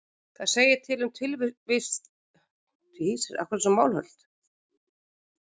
Það segir til um tilvist bílsins, en það er ekki eiginleiki.